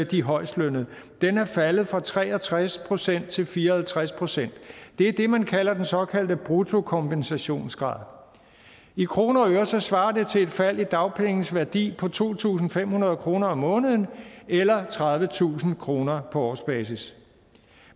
de højestlønnede faldet fra tre og tres procent til fire og halvtreds procent det er det man kalder den såkaldte bruttokompensationsgrad i kroner og øre svarer det til et fald i dagpengenes værdi på to tusind fem hundrede kroner om måneden eller tredivetusind kroner på årsbasis